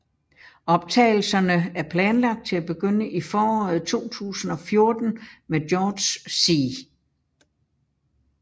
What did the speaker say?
Optagelserne er planlagt til at begynde i foråret 2014 med George C